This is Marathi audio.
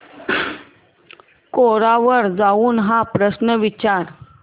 कोरा वर जाऊन हा प्रश्न विचार